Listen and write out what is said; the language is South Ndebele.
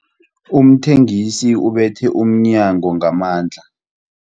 Umthengisi ubethe umnyango ngamandla.